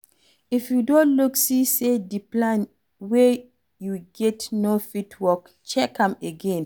If you don look see sey di plan wey you get no fit work, check am again,